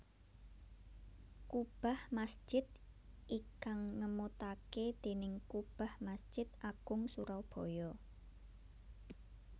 Kubah masjid ikang ngemutake déning kubah Masjid Agung Surabaya